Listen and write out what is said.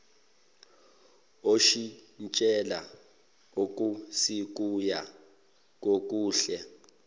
oshintshela okusikuya kokuhle